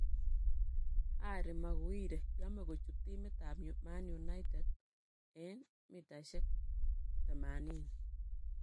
Harry Maguire: Yome kochut timit ab Man United en �80m?